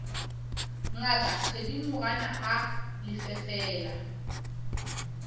ngaka thedimogane a lefe fela